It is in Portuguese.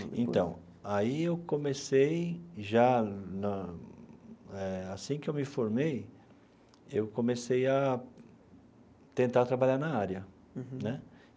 Então, aí eu comecei já na eh... Assim que eu me formei, eu comecei a tentar trabalhar na área. Uhum. Né.